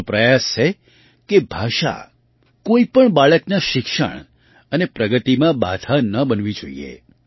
આપણો પ્રયાસ છે કે ભાષા કોઈ પણ બાળકના શિક્ષણ અને પ્રગતિમાં બાધા ન બનવી જોઈએ